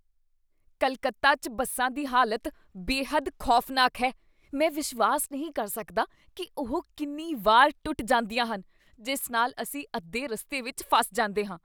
ਕੱਲਕੱਤਾ 'ਚ ਬੱਸਾਂ ਦੀ ਹਾਲਤ ਬੇਹੱਦ ਖੌਫ਼ਨਾਕ ਹੈ ! ਮੈਂ ਵਿਸ਼ਵਾਸ ਨਹੀਂ ਕਰ ਸਕਦਾ ਕੀ ਉਹ ਕਿੰਨੀ ਵਾਰ ਟੁੱਟ ਜਾਂਦੀਆਂ ਹਨ, ਜਿਸ ਨਾਲ ਅਸੀਂ ਅੱਧੇ ਰਸਤੇ ਵਿੱਚ ਫਸ ਜਾਂਦੇ ਹਾਂ।